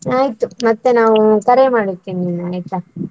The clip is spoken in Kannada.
ಆಯ್ತು, ಮತ್ತೆ ನಾವು ಕರೆ ಮಾಡುತ್ತೇನೆ ನಿನ್ಗೆ ಆಯ್ತಾ?